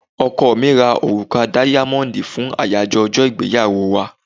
Ọkọ mi ra òrùka dáyámọ́dì fún àyájọ ọjọ́ ìgbéyàwó wa.